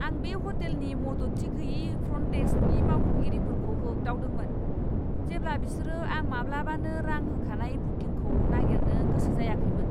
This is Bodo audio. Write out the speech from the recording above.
आं बे ह'टेलनि मददथि गोयि फ्रन्ट डेस्कनि मावख'गिरिफोरखौ होगदावदोंमोन, जेब्ला बिसोरो आं माब्लाबानो रां होखानाय बुकिंखौ नागिरनो गोसो जायाखैमोन!